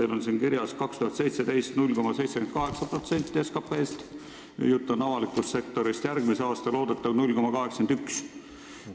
Teil on siin kirjas, et 2017. aastal moodustasid need summad 0,78% SKT-st – jutt on avalikust sektorist –, järgmise aasta loodetav näitaja 0,81%.